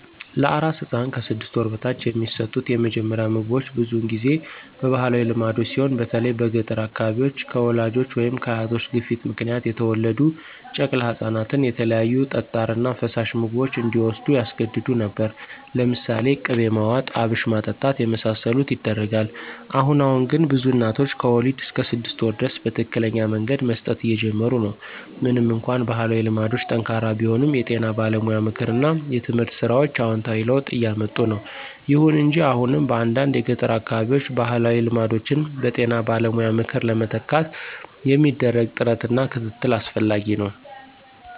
ለአራስ ሕፃን (ከ 6 ወር በታች) የሚሰጡት የመጀመሪያ ምግቦች ብዙውን ጊዜ በባህላዊ ልማዶች ሲሆን በተለይም በገጠር አካባቢዎች፣ ከወላጆች ወይም ከአያቶች ግፊት ምክንያት የተወለዱ ጨቅላ ህፃናትን የተለያዩ ጠጣር እና ፈሳሽ ምግቦች እንዲዎስዱ ያስገድዱ ነበር። ለምሳሌ ቅቤ ማዋጥ፣ አብሽ ማጠጣት የመሳሰሉት ይደረጋል። አሁን አሁን ግን ብዙ እናቶች ከወሊድ እስከ 6 ወር ድረስ በትክክለኛ መንገድ መስጠት እየጀመሩ ነው። ምንም እንኳን ባህላዊ ልማዶች ጠንካራ ቢሆኑም፣ የጤና ባለሙያ ምክር እና የትምህርት ሥራዎች አዎንታዊ ለውጥ እያምጡ ነው። ይሁን እንጂ አሁንም በአንዳንድ የገጠር አካባቢዎች ባህላዊ ልማዶችን በጤና ባለሙያ ምክር ለመተካት የሚደረግ ጥረት እና ክትትል አስፈላጊ ነው።